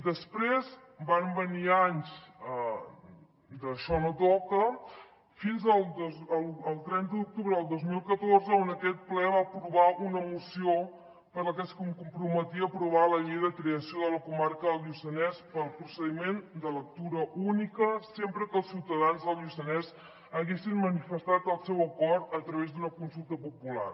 després van venir anys d’ això no toca fins al trenta d’octubre del dos mil catorze on aquest ple va aprovar una moció per la que es comprometia a aprovar la llei de creació de la comarca del lluçanès pel procediment de lectura única sempre que els ciutadans del lluçanès haguessin manifestat el seu acord a través d’una consulta popular